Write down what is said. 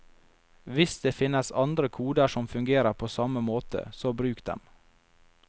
Hvis det finnes andre koder som fungerer på samme måte, så bruk dem.